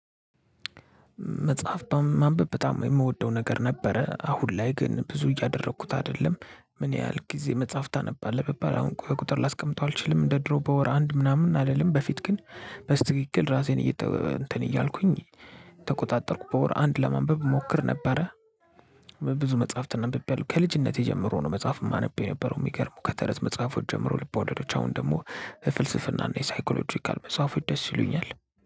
መጽሐፍ ማንበብ በጣም የምወደው ነገር ነበረ አሁን ላይ ግን ብዙ እያደረኩት አይደለም። ምን ያህል ጊዜ መጽሐፍ ታነባለህ ብባል አሁን በቁጥር ላስቀምጠው አልችልም። እንደ ድሮ በወር አንድ ምና ምን አልልም። በፊት ግን በትክክል እራሴን እንትን እያልኩኝ እየተቆጣጠርኩ በወር አንድ ለማንበብ እሞክር ነበረ። ብዙ መጽሐፍትን አንብቤያለሁ ከልጅነቴ ጀምሮ ነው። መጽሐፍ ማነብ የነበረው። የሚገርመው ከተረት መጽሐፎች ጀምሮ ልቦለዶች አሁን ደግሞ የፍልስፍና እና የሳይኮሎጂካል መጽሐፎች ደስ ይሉኛል።